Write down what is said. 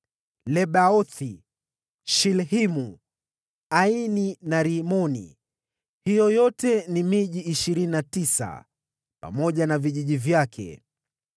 Lebaothi, Shilhimu, Aini na Rimoni; hiyo yote ni miji ishirini na tisa, pamoja na vijiji vyake.